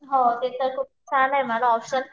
हो ते तर खूप छान आहे म्हण ऑप्शन